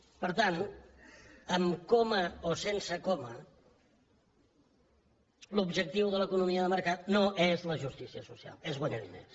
per tant amb coma o sense coma l’objectiu de l’economia de mercat no és la justícia social és guanyar diners